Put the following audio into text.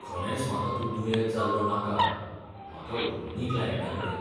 खरेंच म्हाका तूं दुयेंत जाल्लो नाका. म्हाका उलवंदी क्लायंटाकडेन